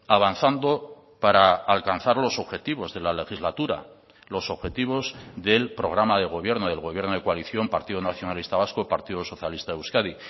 avanzando para alcanzar los objetivos de la legislatura los objetivos del programa de gobierno del gobierno de coalición partido nacionalista vasco partido socialista de euskadi